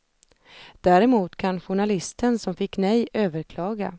Däremot kan journalisten som fick nej överklaga.